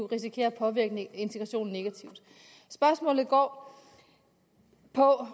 risikere at påvirke integrationen negativt spørgsmålet går på